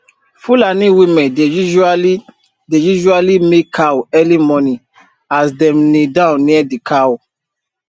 fulani women dey usually dey usually milk cow early morning as dem kneel down near the cow